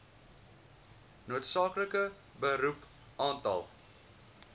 noodsaaklike beroep aantal